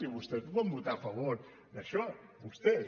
i vostès ho van votar a favor això vostès